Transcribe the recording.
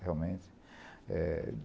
Realmente.